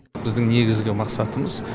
біздің негізгі мақсатымыз стратегиялық мақсатымыз